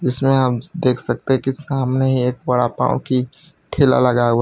जिसमें हम देख सकते हैं की सामने एक बड़ा पांव की ठेला लगाया हुआ है।